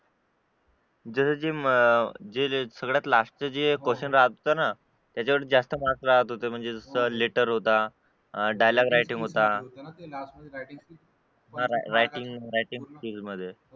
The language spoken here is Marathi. जस जे मग सगळ्यात लास्ट चे question राहत होत ना तिच्यावर जास्त marks राहत होते म्हणजे जसा latter होता dialogue writing होतं writing skill मध्ये